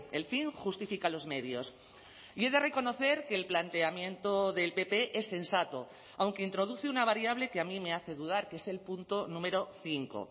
el fin justifica los medios y he de reconocer que el planteamiento del pp es sensato aunque introduce una variable que a mí me hace dudar que es el punto número cinco